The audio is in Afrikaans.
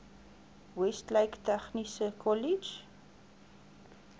westlake tegniese kollege